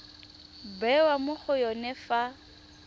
bewa mo go yone fa